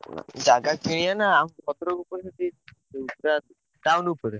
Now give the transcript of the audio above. ଜାଗା କିଣିଆ ନା ଭଦ୍ରକରୁ ପୁଣି ସେଠି ଉଁ ପୁରା town ଉପରେ।